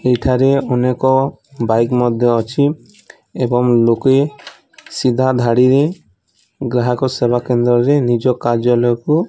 ଏଇଠାରେ ଅନେକ ବାଇକ୍ ମଧ୍ୟ ଅଛି ଏବଂ ଲୋକେ ସିଧା ଧାଡ଼ିରେ ଗ୍ରାହକ ସେବା କେନ୍ଦ୍ରରେ ନିଜ କାର୍ଯ୍ୟାଳୟକୁ --